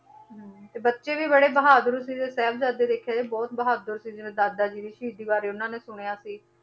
ਹਮ ਤੇ ਬੱਚੇ ਵੀ ਬੜੇ ਬਹਾਦਰ ਸੀਗੇ ਸਾਹਿਬਜ਼ਾਦੇ ਦੇਖਿਆ ਜਾਏ ਬਹੁਤ ਬਹਾਦਰ ਸੀ, ਜਿਵੇਂ ਦਾਦਾ ਜੀ ਦੀ ਸ਼ਹੀਦੀ ਬਾਰੇ ਉਹਨਾਂ ਨੇ ਸੁਣਿਆ ਸੀ,